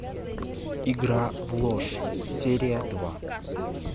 игра в ложь серия два